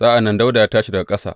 Sa’an nan Dawuda ya tashi daga ƙasa.